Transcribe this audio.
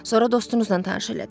Sonra dostunuzla tanış elədiz.